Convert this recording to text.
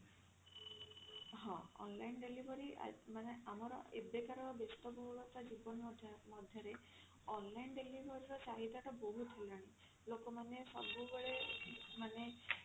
ହଁ online delivery ଆ ମାନେ ଆମର ଏବେକାର ବେସ୍ତବହୁଳତା ଜୀବନ ମଧ୍ୟ ମଧ୍ୟରେ online delivery ର ଚାହିଦା ଟା ବହୁତ ହେଲାଣି ଲୋକ ମାନେ ସବୁବେଳେ ମାନେ